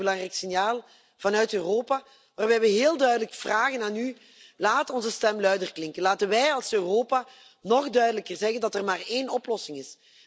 Een heel erg belangrijk signaal vanuit Europa, waarbij we u heel duidelijk vragen laat onze stem luider klinken. Laten wij als Europa nog duidelijker zeggen dat er maar één oplossing is.